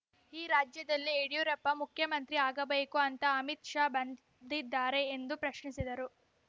ಈ ರಾಜ್ಯದಲ್ಲಿ ಯಡಿಯೂರಪ್ಪ ಮುಖ್ಯಮಂತ್ರಿ ಆಗಬೇಕು ಅಂತ ಅಮಿತ್‌ ಶಾ ಬಂದಿದ್ದಾರೆ ಎಂದು ಪ್ರಶ್ನಿಸಿದರು